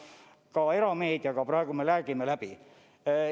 Minu teada ka erameediaga praegu me räägime läbi.